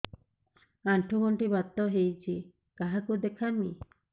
ଆଣ୍ଠୁ ଗଣ୍ଠି ବାତ ହେଇଚି କାହାକୁ ଦେଖାମି